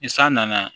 Ni san nana